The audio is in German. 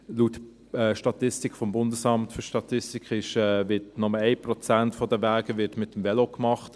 Laut Statistik des Bundesamts für Statistik (BFS) wird bei 10 bis 20 Kilometern Pendeldistanz nur ein Prozent der Wege mit dem Velo gemacht.